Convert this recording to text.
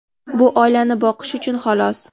bu oilani boqish uchun xolos.